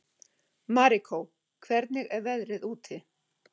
Marikó, hvernig er veðrið úti?